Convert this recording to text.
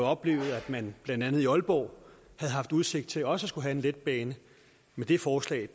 oplevet at man blandt andet i aalborg havde haft udsigt til også at skulle have en letbane men det forslag